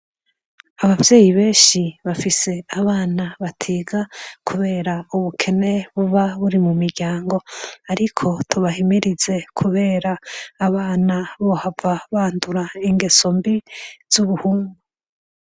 Ababyeyi benshi bafise abana batiga kubera ubukene buba buri mu miryango ariko tubahimirize kubera abana bohava bandura ingeso mbi zubuhumbu.